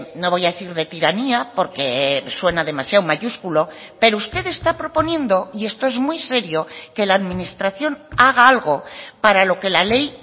no voy a decir de tiranía porque suena demasiado mayúsculo pero usted está proponiendo y esto es muy serio que la administración haga algo para lo que la ley